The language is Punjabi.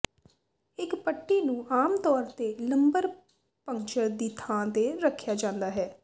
ਇੱਕ ਪੱਟੀ ਨੂੰ ਆਮ ਤੌਰ ਤੇ ਲੰਬਰ ਪੰਕਚਰ ਦੀ ਥਾਂ ਤੇ ਰੱਖਿਆ ਜਾਂਦਾ ਹੈ